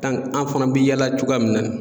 an fana bɛ yaala cogoya min na ni.